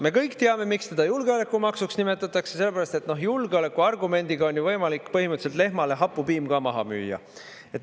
Me kõik teame, miks teda julgeolekumaksuks nimetatakse, sellepärast et julgeoleku argumendiga on võimalik põhimõtteliselt lehmale hapupiim ka maha müüa.